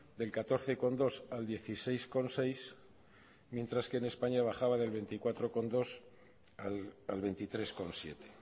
del catorce coma dos al dieciséis coma seis mientras que en españa bajaba del veinticuatro coma dos al veintitrés coma siete